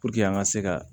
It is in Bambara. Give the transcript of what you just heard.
an ka se ka